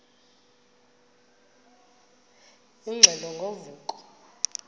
ingxelo ngo vuko